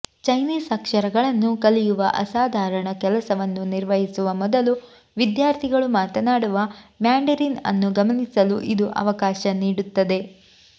Chinese ಅಕ್ಷರಗಳನ್ನು ಕಲಿಯುವ ಅಸಾಧಾರಣ ಕೆಲಸವನ್ನು ನಿರ್ವಹಿಸುವ ಮೊದಲು ವಿದ್ಯಾರ್ಥಿಗಳು ಮಾತನಾಡುವ ಮ್ಯಾಂಡರಿನ್ ಅನ್ನು ಗಮನಿಸಲು ಇದು ಅವಕಾಶ ನೀಡುತ್ತದೆ